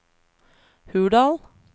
Hurdal